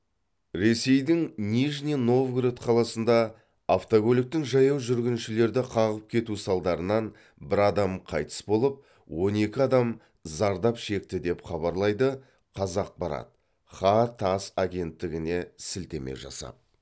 ресейдің нижний новгород қаласында автокөліктің жаяу жүргіншілерді қағып кетуі салдарынан бір адам қайтыс болып он екі адам зардап шекті деп хабарлайды қазақпарат хаа тасс агенттігіне сілтеме жасап